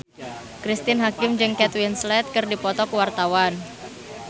Cristine Hakim jeung Kate Winslet keur dipoto ku wartawan